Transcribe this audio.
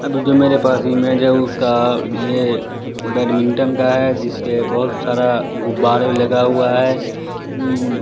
अ video मेरे पास image है उसका ये बैडमिंटन का है जिसपे बहुत सारा गुब्बारे लगा हुआ है ऊ --